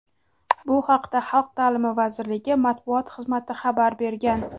Bu haqda Xalq ta’limi vazirligi matbuot xizmati xabar bergan .